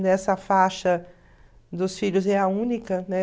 Nessa faixa dos filhos é a única, né?